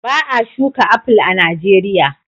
Ba a shuka aful a Nijeriya.